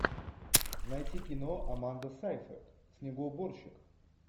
найти кино аманда сейфрид снегоуборщик